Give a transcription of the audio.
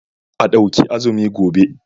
A ɗauki azumi gobe.